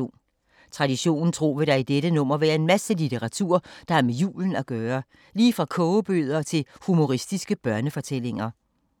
Traditionen tro vil der i dette nummer være en masse litteratur der har med julen at gøre. Lige fra kogebøger til humoristiske børnefortællinger.